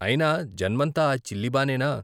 అయినా జన్మంతా ఆ చిల్లి బానేనా?